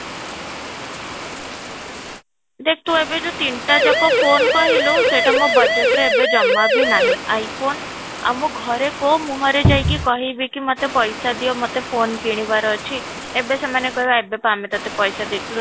ଦେଖ ତୁ ଏବେ ଯୋଉ ତିନିଟା ଯାକ phone କହିଲୁ, ସେଇଟା ମୋ budget ରେ ଏବେ ଜମା ବି ନାହିଁ, I phone ଆଉ ମୁଁ ଘରେ କୋଉ ମୁଁହରେ ଯାଇକି କହିବି କି ମୋତେ ପଇସା ଦିଅ ମୋତେ phone କିଣିବାର ଅଛି, ଏବେ ସେମାନେ କହିବେ ଏବେ ପା ଆମେ ତୋତେ ପଇସା ଦେଇଥିଲୁ